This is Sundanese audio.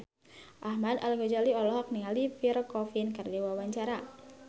Ahmad Al-Ghazali olohok ningali Pierre Coffin keur diwawancara